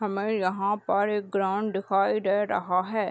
हमें यहाँ पर एक ग्राउंड दिखाई दे रहा है।